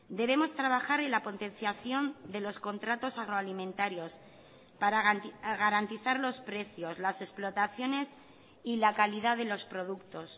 debemos trabajar en la potenciación de los contratos agroalimentarios para garantizar los precios las explotaciones y la calidad de los productos